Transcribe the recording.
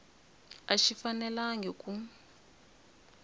a xi fanelangi ku